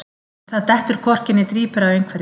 Það dettur hvorki né drýpur af einhverjum